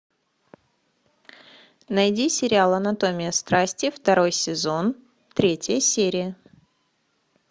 найди сериал анатомия страсти второй сезон третья серия